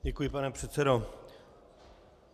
Děkuji, pane předsedo.